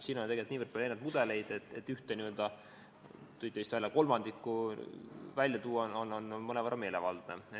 Siin on tegelikult niivõrd palju erinevaid mudeleid, et ühte – te mainisite vist kolmandikku – välja tuua on mõnevõrra meelevaldne.